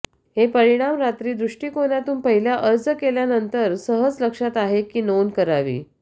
हे परिणाम रात्री दृष्टीकोनातून पहिल्या अर्ज केल्यानंतर सहज लक्षात आहे की नोंद करावी